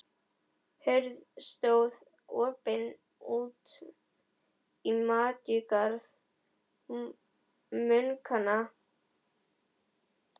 Hurð stóð opin út í matjurtagarð munkanna.